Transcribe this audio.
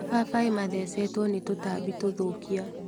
Mababai mathecetwo nĩ tũtambi tũthũkia.